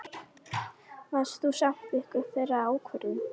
Varst þú samþykkur þeirri ákvörðun?